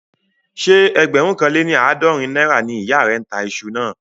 Ṣé ẹgbẹ̀rún kan lé ní àádọ́rin náírà ni ìyá rẹ̀ ń tà iṣu náà?